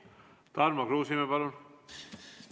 Tarmo Kruusimäe, palun!